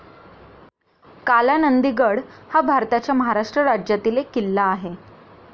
कालानंदिगड हा भारताच्या महाराष्ट्र राज्यातील एक किल्ला आहे.